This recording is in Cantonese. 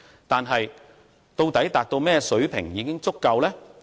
但是，究竟甚麼水平才算是足夠呢？